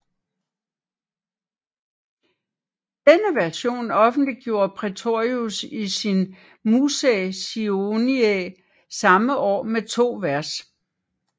Denne version offentliggjorde Praetorius i sin Musae Sioniae samme år med to vers